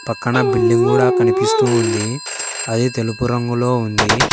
పక్కన బిల్డింగ్ కూడా కనిపిస్తూ ఉంది అది తెలుపు రంగులో ఉంది.